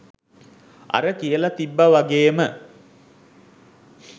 අර කියල තිබ්බ වගේම